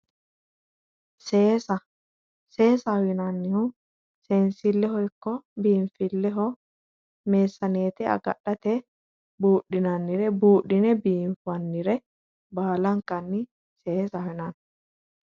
Seesaho yinannihu seensilleho ikko biinfilleho meessaneete agadhate buudhinannire buudhine biinfannire baalankanni seesaho yinanni